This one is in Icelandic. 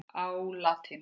á latínu.